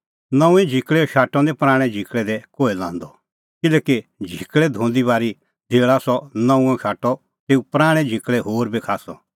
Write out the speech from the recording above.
नऊंऐं झिकल़ैओ शाटअ निं पराणैं झिकल़ै दी कोहै लांदअ किल्हैकि झिकल़ै धोंदी बारी धेल़ा सह नऊंअ शाटअ तेऊ पराणैं झिकल़ै होर बी खास्सअ